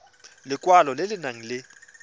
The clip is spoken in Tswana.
lekwalo le le nang le